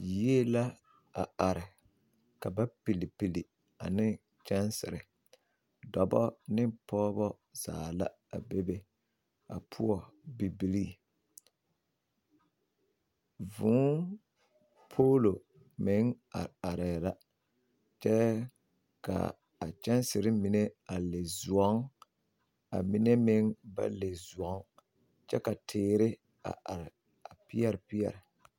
Yie la a are, ka ba pilipli ane kyansiiri dɔba ne pɔgeba zaa la a bebe, a poɔ bibilii, vʋʋ polo meŋ are aree la kyɛ ka a kyansiiri mine a le zoŋ, kyɛ kaa mine meŋ ba le zoŋ kyɛ ka teere a are a pɛre pɛre